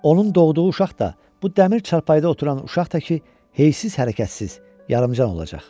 Onun doğduğu uşaq da bu dəmir çarpayıda oturan uşaq tək heysiz, hərəkətsiz, yarıcan olacaq.